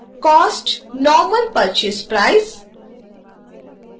cost normal purchase price